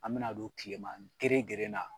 An bɛna don tileman gerengeren na.